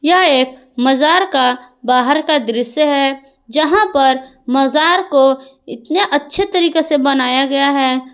यह एक मजार का बाहर का दृश्य है जहां पर मजार को इतने अच्छे तरीके से बनाया गया है।